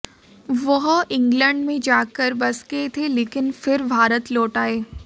वह इंग्लैंड में जाकर बस गए थे लेकिन फिर भारत लौट आये